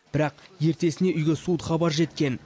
бірақ ертесіне үйге суыт хабар жеткен